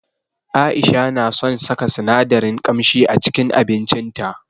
Aisha na son saka sinadaran kamshi a cikin abincin ta.